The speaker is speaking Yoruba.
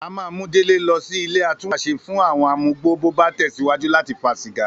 A máa mú Délé lọ sí ilé atúnwàṣe fún àwo̩n amugbó bó bá tẹ̀síwájú láti fa sìgá